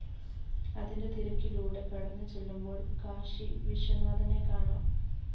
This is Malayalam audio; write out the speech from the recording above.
അതിന്റെ തീരക്കിലൂടെ കടന്ന് ചെല്ലുമ്പോള്‍ കാശി വിശ്വനാഥനെ കാണാം